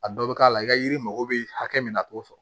A dɔw bɛ k'a la i ka yiri mako bɛ hakɛ min na a t'o sɔrɔ